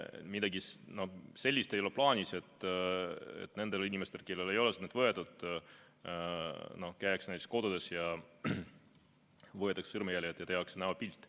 Midagi sellist ei ole plaanis, et nendel inimestel, kellelt ei ole sõrmejälgi võetud, käiakse kodudes ja neilt võetakse sõrmejäljed ja tehakse näopilt.